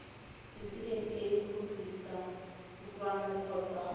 ccma go tlisa kutlwano kgotsa